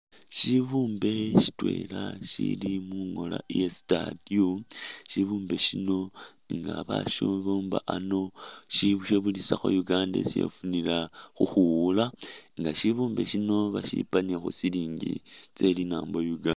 Shibumbe shitwela shili mungola iya statue, shibumbe shino nga ba shibumba ano shikhebulisa kho Uganda isi yafunila khukhwiwula nga bashipa ni khu silingi tselinambo uganda